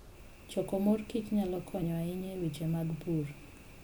Choko mor kich nyalo konyo ahinya e weche mag pur.